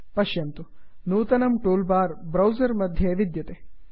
पश्यन्तु160 नूतनं toolbar browser मध्ये विद्यते